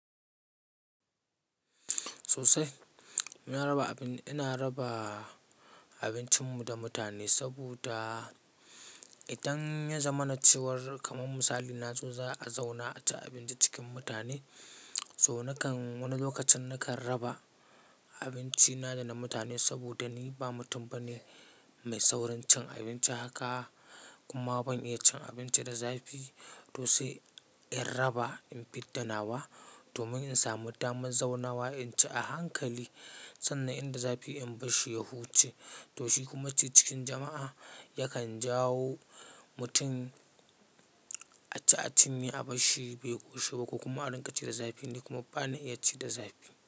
Sosai, muna raba abin, ina raba abincinmu da mutane saboda idan ya zama na cewar kamar misali na zo za a zauna a ci abinci cikin mutane, to nakan wani lokacin nakan raba abinci na da na mutane saboda ni ba mutum bane mai saurin cin abinci haka, kuma ban iya cin abinci da zafi, to sai in raba, in fidda nawa domin in samu damar zauna wa in ci a hankali sannan inda zafi in bar shi ya huce. To shi kuma ci cikin jama'a yakan jawo mutum a ci abinci a bar shi bai koshi ba ko kuma a riƙa ci da zafi ni kuma bana iya ci da zafi.